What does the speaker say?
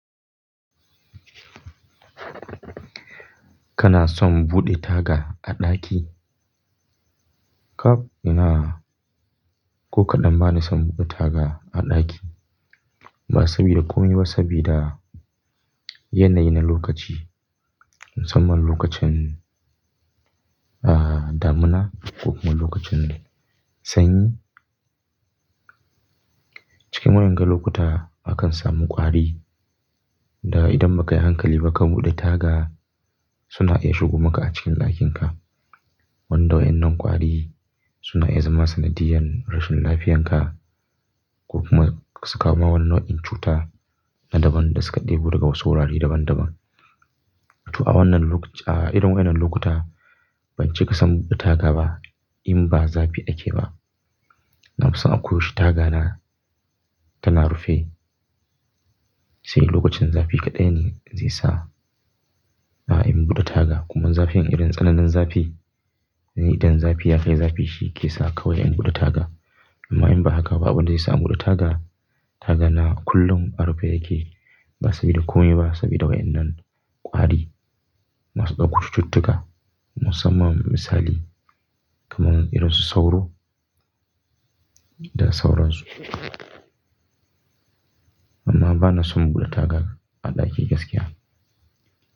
Kana son buɗe taga a ɗaki? Kap ina, ko kaɗan bana son buɗe taga a ɗaki. Ba saboda komi ba, saboda yanayin na lokaci. Musamman lokacin, ah, damina ko kuma lokacin sanyi. Cikin waƴanga lokuta akan samu ƙwari da idan ba ka yi hankali ba ka buɗe taga suna iya shigo maka a cikin ɗakinka. Wanda waƴannan ƙwari suna iya zama sanadiyan rashin lafiyanka ko kuma su kawo mawa wani nau'in cuta na daban da suka ɗebo daga wasu wurare daban-daban. To a wannan lok-- a irin wannan lokuta ban ce ka san buɗe taga ba in ba zafi ake ba. Na fi son akoyaushi taga na tana rufe. Sai lokacin zafi kaɗai ne zai sa, ah, in buɗe taga. Kuma zafin irin tsananin zafi, idan zafi ya kai zafi shi ke sa kawai in buɗe taga. Amma in ba haka ba, ba abin da zai sa in buɗe taga. Taga na kullum a rufe yake. Ba saboda komi ba, saboda wa'ennan ƙwari masu ɗauko cututtuka musamman misali kaman irin su sauro da sauransu. Amma bana son buɗe taga a ɗaki gaskiya.